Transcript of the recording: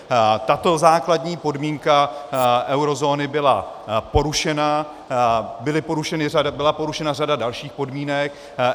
Tato základní podmínka eurozóny byla porušena, byla porušena řada dalších podmínek.